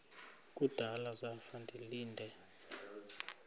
kudala zafa ndilinde